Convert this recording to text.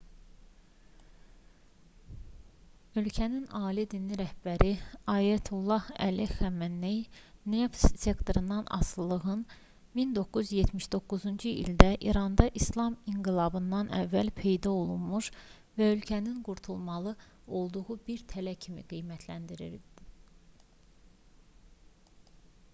ölkənin ali dini rəhbəri ayətullah əli xamenei neft sektorundan asılılığın 1979-cu ildə i̇randa i̇slam inqilabından əvvəl peyda olmuş və ölkənin qurtulmalı olduğu bir tələ kimi qiymətləndirdi